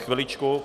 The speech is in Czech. Chviličku.